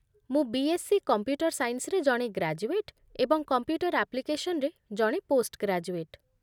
ମୁଁ ବି.ଏସ୍ ପି. କମ୍ପ୍ୟୁଟର ସାଇନ୍ସରେ ଜଣେ ଗ୍ରାଜୁଏଟ ଏବଂ କମ୍ପ୍ୟୁଟର ଆପ୍ଲିକେସନ୍‌ରେ ଜଣେ ପୋଷ୍ଟଗ୍ରାଜୁଏଟ